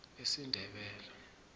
esindebele